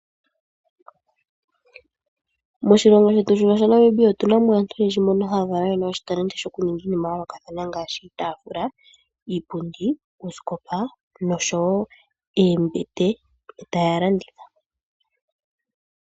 Moshilongo shetu shino shaNamibia otunamo aantu oyendji mbono haya valwa yena oshitalenti shokuninga iinama yayoolokathana ngaashi iitaafula, iipundi, oosikopa nosho wo oombete e taya landitha.